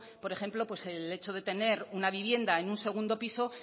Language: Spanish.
por ejemplo el hecho de tener una vivienda en un segundo piso